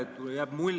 Tänan küsimuse eest!